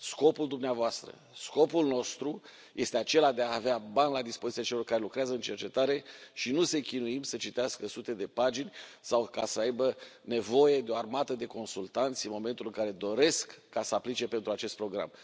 Scopul dumneavoastră, scopul nostru este acela de a avea bani la dispoziția celor care lucrează în cercetare și nu să i chinuim să citească sute de pagini sau să aibă nevoie de o armată de consultanți în momentul în care doresc să aplice pentru acest program.